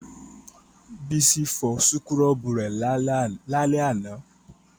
Bísí fọ súkúrọ́bù rẹ̀ lálẹ́ àná